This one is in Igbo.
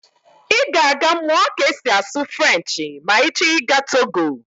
Ị ga-eje mụọ ka esi asụ Frenchị ma ị chọ ịga Togo